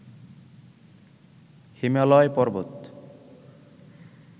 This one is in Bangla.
হিমালয় পর্বত